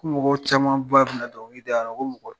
Ko mɔgɔw caman ba bɛ na donkili da yan ko mɔgɔ